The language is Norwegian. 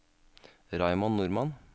Raymond Normann